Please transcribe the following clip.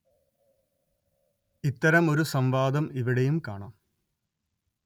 ഇത്തരം ഒരു സം‌വാദം ഇവിടെയും കാണാം